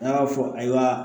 N'a y'a fɔ ayiwa